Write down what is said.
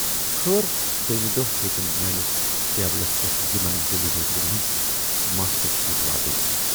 "خٲر دویمہِ دۅہ ہیتٕنۍ میٲنِس ٹیبلس پٮ۪ٹھ یِمن ڈیلی ویجرن ہٕندۍ ماسٹرشیٖٹ واتٕنۍ۔